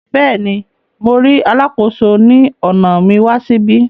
Béèni, Mo ríi Alàkóso ni ọna mi wà síbí